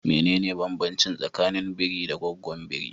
Mene ne banbancin tsakanin biri da gaggwon biri?